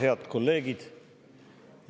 Head kolleegid!